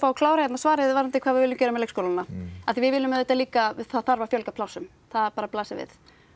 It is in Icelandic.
að klára svarið varðandi hvað við viljum gera með leikskólana við viljum auðvitað líka það þarf að fjölga plássum það blasir við